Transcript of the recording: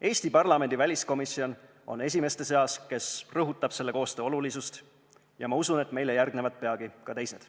Eesti parlamendi väliskomisjon on esimeste seas, kes rõhutab selle koostöö olulisust, ja ma usun, et meile järgnevad peagi ka teised.